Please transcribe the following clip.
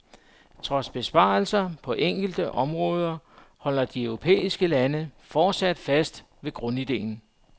Trods besparelser på enkelte områder holder de europæiske lande fortsat fast ved grundidéen.